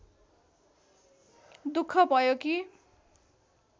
दुख भयो कि